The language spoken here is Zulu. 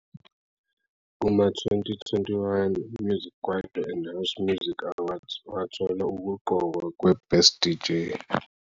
Kuma-2021 Music Kwaito and House Music Awards wathola ukuqokwa kweBest DJ.